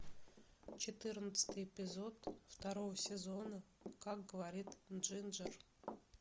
четырнадцатый эпизод второго сезона как говорит джинджер